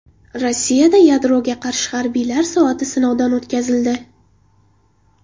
Rossiyada yadroga qarshi harbiylar soati sinovdan o‘tkazildi.